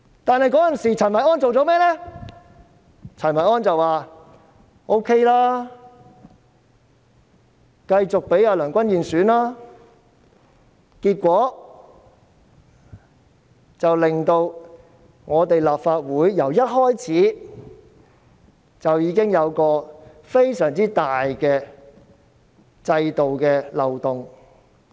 當時，陳維安卻說 OK， 繼續讓梁君彥參加主席選舉，結果令本屆立法會一開始時就出現非常大的制度漏洞。